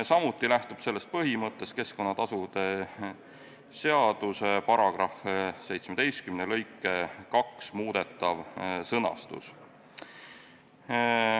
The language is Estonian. Samuti lähtub sellest põhimõttest keskkonnatasude seaduse § 17 lõike 2 muudetav sõnastus.